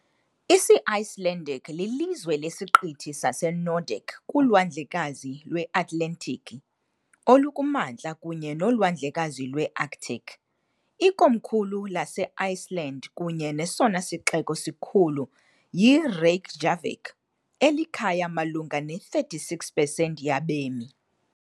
Isi-Icelandic lilizwe lesiqithi saseNordic kuLwandlekazi lweAtlantiki olukuMantla kunye noLwandlekazi lweArctic. Ikomkhulu laseIceland kunye nesona sixeko sikhulu yiReykjavík, elikhaya malunga ne-36 pesenti yabemi.